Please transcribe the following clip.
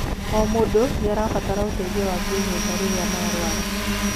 O mũndũ nĩarabatara ũteithio wa kĩnyumba rirĩa marwara